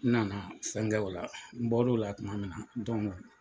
N nana fɛnkɛ o la, n bɔlola tuma min na